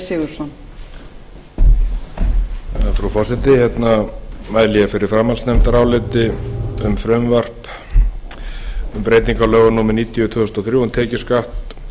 frú forseti ég mæli fyrir framhaldsnefndaráliti um frumvarp um breytingu á lögum númer níutíu tvö þúsund og þrjú um tekjuskatt